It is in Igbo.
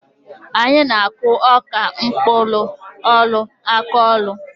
Anyị na-akụ ọka n'mkpụlụ-ọlụ akọlụ.